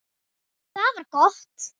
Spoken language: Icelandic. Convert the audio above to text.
Það var gott.